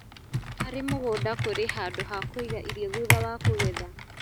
Harĩ mũgũnda kũri handũ ha kũiga irio thutha wa kũgetha